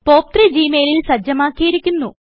പോപ്പ്3 G മെയിലിൽ സജ്ജമാക്കിയിരിക്കുന്നു